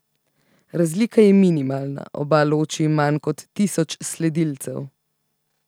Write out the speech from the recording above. Razlika je minimalna, oba loči manj kot tisoč sledilcev.